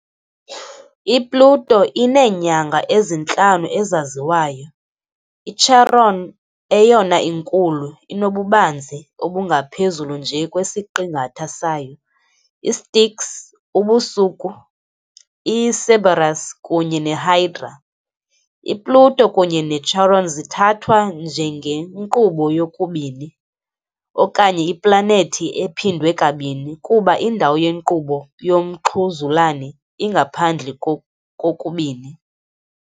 I-Pluto ineenyanga ezintlanu ezaziwayo - iCharon, eyona inkulu, inobubanzi obungaphezulu nje kwesiqingatha sayo, iStyx, Ubusuku, iCerberus, kunye neHydra. I-Pluto kunye ne-Charon zithathwa njengenkqubo yokubini okanye iplanethi ephindwe kabini, kuba indawo yenkqubo yomxhuzulane ingaphandle kokubini.